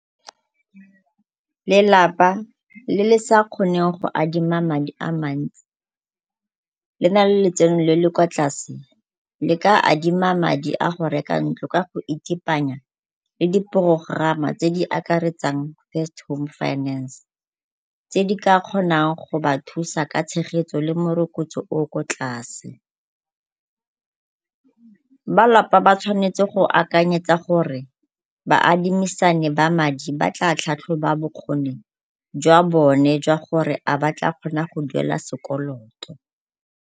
Lelapa le le sa kgoneng go adima madi a mantsi le na le letseno le le kwa tlase le ka adima madi a go reka ntlo ka go itepanya le diporokorama tse di ka akaretsang First Home Finance, tse di ka kgonang go ba thusa ka tshegetso le morokotso o o ko tlase. Ba lapa ba tshwanetse go akaretsa gore baadimisani ba madi ba tla tlhatlhoba bokgoni jwa bone jwa gore a ba tla kgona go duela sekoloto.